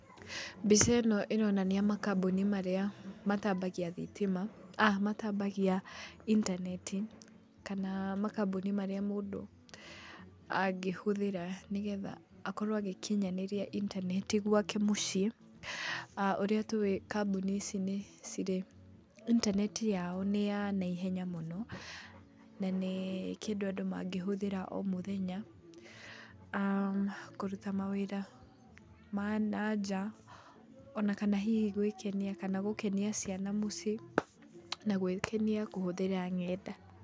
Mbica ĩno ĩronania makamboni marĩa matambagia intaneti kana makamboni marĩa mũndũ angĩhũthĩra nĩgetha akorwo agĩkinyanĩria intaneti gwake mũciĩ. Ũrĩa tũĩ kamboni ici nĩcirĩ intaneti yao nĩ ya naihenya mũno na nĩ kĩndũ andũ mangĩhũthĩra o mũthenya kũruta mawĩra ma nanja. Ona kana hihi gwĩkenia kana gũkenia ciana mũciĩ na gwĩkenia kũhũthĩra ng'enda.